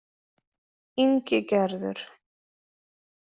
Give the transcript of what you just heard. Ingigerður